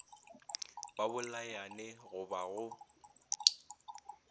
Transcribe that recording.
ba bolayane go ba go